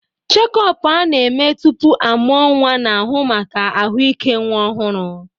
Chékopu a-na eme tupu amuo nwa na-ahu maka ahụike nwa ọhụrụ.